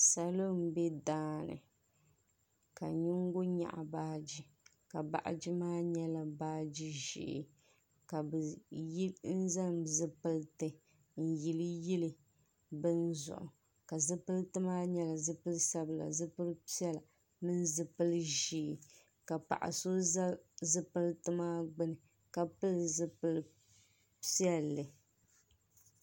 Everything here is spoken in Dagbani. salo m-be daani ka yingo nyaɣi baaji ka baaji maa nyɛla baaji ʒee ka bɛ yi zaŋ zupiliti n-yeli yeli bini zuɣu ka zupiliti maa nyɛla zupil' sabila zupil' piɛla mini zupil' ʒee ka paɣ' so za zupiliti maa gbuuni ka pili zupil' piɛlli.